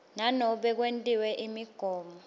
nanobe kwentiwe imigomo